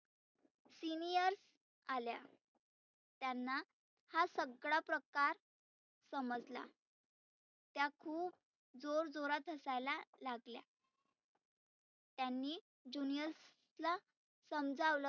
seniors आल्या. त्यांना हा सगळा प्रकार समजला. त्या खुप जोर जोरात हसायला लागल्या. त्यांनी juniors ला समजावलं